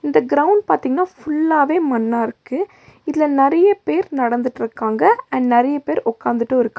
இந்த கிரவுண்ட் பாத்தீங்ன்னா ஃபுல்லாவே மண்ணா இருக்கு இதுல நெறைய பேர் நடந்துட்ருக்காங்க அண்ட் நெறைய பேர் உக்காந்துட்டு இருக்காங்.